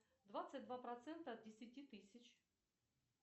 двадцать два процента от десяти тысяч